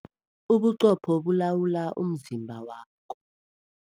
Ubuqopho bulawula umzimba wakho.